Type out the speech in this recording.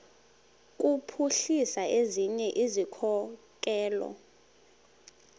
kuphuhlisa ezinye izikhokelo